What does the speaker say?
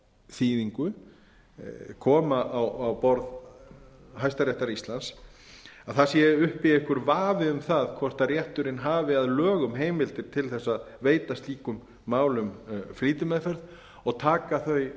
þýðingu koma á borð hæstaréttar íslands að það sé uppi einhver vafi um það hvort rétturinn hafi að lögum heimild til að veita slíkum málum flýtimeðferð og taka þau